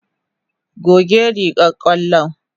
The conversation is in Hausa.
Goge rigar ƙwallo.